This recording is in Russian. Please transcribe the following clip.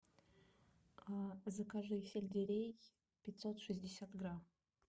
закажи сельдерей пятьсот шестьдесят грамм